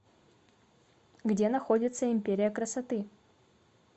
где находится империя красоты